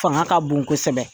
Fanga ka bon kosɛbɛ.